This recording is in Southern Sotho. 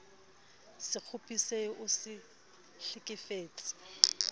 se kgopisehe o se hlekefetse